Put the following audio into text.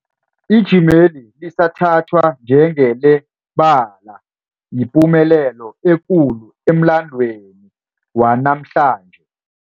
Ijimeli lisathathwa njengelaba yipumelelo ekulu emlandweni wanamhlanje.